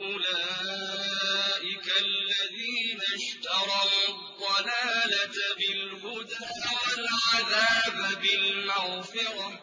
أُولَٰئِكَ الَّذِينَ اشْتَرَوُا الضَّلَالَةَ بِالْهُدَىٰ وَالْعَذَابَ بِالْمَغْفِرَةِ ۚ